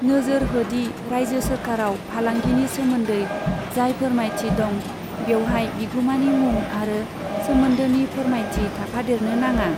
नोजोर हो दि रायजो सोरखारआव फालांगिनि सोमोन्दै जाय फोरमायथि दं, बेवहाय बिगुमानि मुं आरो सोमोन्दोनि फोरमायथि थाफादेरनो नाङा।